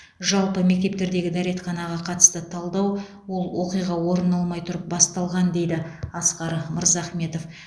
жалпы мектептердегі дәретханаға қатысты талдау ол оқиға орын алмай тұрып басталған дейді асқар мырзахметов